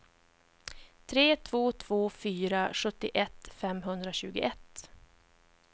tre två två fyra sjuttioett femhundratjugoett